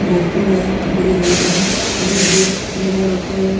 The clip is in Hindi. भोपू है बड़ी लाइट है डी_जे लगा रखा है ।